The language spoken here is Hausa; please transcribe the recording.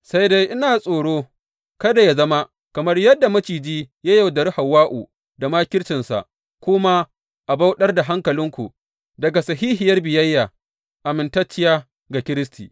Sai dai ina tsoro kada yă zama, kamar yadda maciji ya yaudari Hawwa’u da makircinsa, ku ma a bauɗar da hankalinku daga sahihiyar biyayya amintacciya ga Kiristi.